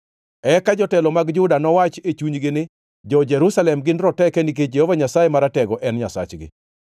Eka jotelo mag Juda nowachi e chunygi ni, ‘Jo-Jerusalem gin roteke nikech Jehova Nyasaye Maratego en Nyasachgi.’